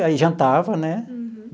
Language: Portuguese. Aí, jantava, né? Uhum.